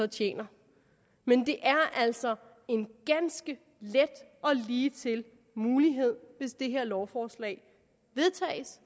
tjener men det er altså en ganske let og ligetil mulighed hvis det her lovforslag vedtages